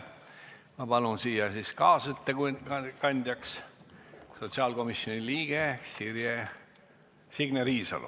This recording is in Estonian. Ma palun kaasettekandjaks sotsiaalkomisjoni liikme Signe Riisalo.